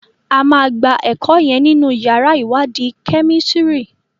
A má gbà eko yen nínú yàrá iwadi Kẹ́mísìrì.